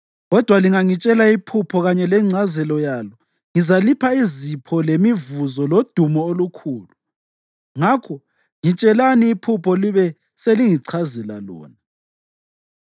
Kodwa lingangitshela iphupho kanye lengcazelo yalo ngizalipha izipho lemivuzo lodumo olukhulu. Ngakho ngitshelani iphupho libe selingichazela lona.”